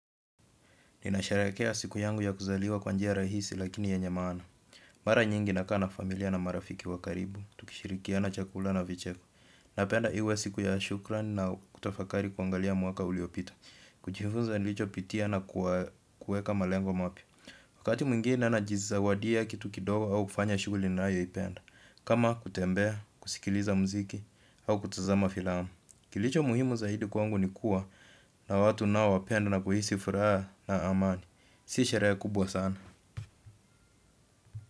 Ninasherekea siku yangu ya kuzaliwa kwa njia rahisi lakini yenye maana. Mara nyingi nakaa na familia na marafiki wa karibu, tukishirikiana chakula na vicheko. Napenda iwe siku ya shukran na kutafakari kuangalia mwaka uliopita kujifunza nilichopitia na kuweka malengo mapya. Wakati mwingine na jizawadia kitu kidogo au kufanya shughuli nayo ipenda kama kutembea, kusikiliza muziki au kutazama filamu. Kilicho muhimu zaidi kwangu ni kuwa na watu nao wapenda na kuhisi furaha na amani. Si sherehe kubwa sana.